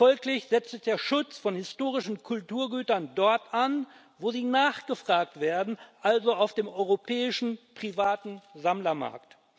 Folglich setzt der Schutz von historischen Kulturgütern dort an, wo sie nachgefragt werden, also auf dem europäischen privaten Sammlermarkt.